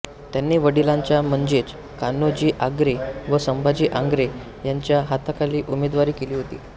त्यांनी वडिलांच्या म्हणजेच कान्होजी आंग्रे व संभाजी आंग्रे यांच्या हाताखाली उमेदवारी केली होती